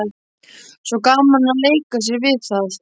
Svo gaman að leika sér við það.